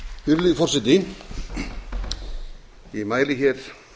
virðulegi forseti ég mæli hér